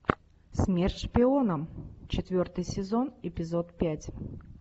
смерть шпионам четвертый сезон эпизод пять